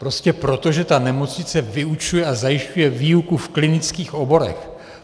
Prostě proto, že ta nemocnice vyučuje a zajišťuje výuku v klinických oborech.